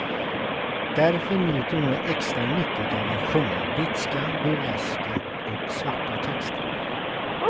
Därför njuter hon nu extra mycket av att sjunga bitska, burleska och svarta texter.